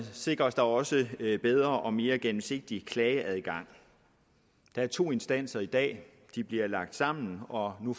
sikres der også en bedre og mere gennemsigtig klageadgang der er to instanser i dag de bliver lagt sammen og nu